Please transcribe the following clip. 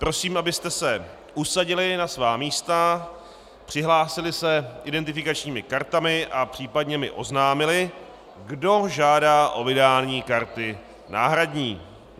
Prosím, abyste se usadili na svá místa, přihlásili se identifikačními kartami a případně mi oznámili, kdo žádá o vydání karty náhradní.